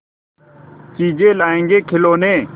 चीजें लाएँगेखिलौने